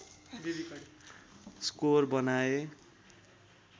score बनाए